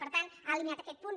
per tant ha eliminat aquest punt